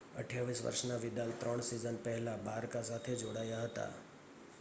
28 વર્ષના વિદાલ ત્રણ સિઝન પહેલા બારકા સાથે જોડાયા હતા